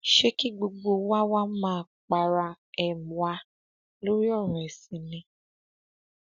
ṣé kí gbogbo wa wáá máa para um wa lórí ọrọ ẹsìn ni um